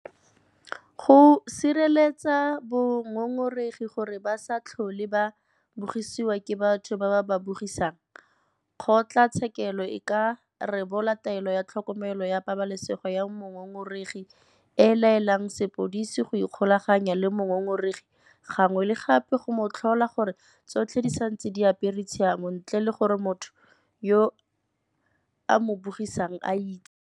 Go sireletsa bangongoregi gore ba se tlhole ba bogisiwa ke batho ba ba ba bogisang, kgotlatshekelo e ka rebola Taelo ya Tlhokomelo ya Pabalesego ya Mongongoregi e e laelang sepodisi go ikgolaganya le mongongoregi gangwe le gape go mo tlhola gore tsotlhe di santse di apere tshiamo ntle le gore motho yo a mo bogisang a itse.